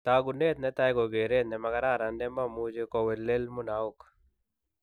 Taakunet netai ko keret ne makararan ne mamuche kowelel munaok.